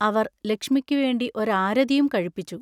അവർ ലക്ഷ്മിക്കുവേണ്ടി ഒരു ആരതിയും കഴിപ്പിച്ചു.